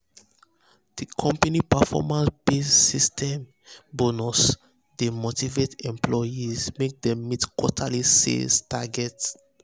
d company performance-based d company performance-based bonus system dey motivate employees make dem meet quarterly sales targets